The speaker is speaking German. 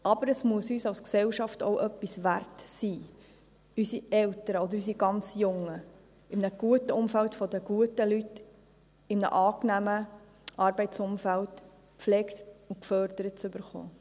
Aber es muss uns als Gesellschaft auch etwas wert sein, unsere Eltern oder unsere ganz Jungen in einem guten Umfeld von den guten Leuten in einem angenehmen Arbeitsumfeld gepflegt und gefördert zu bekommen.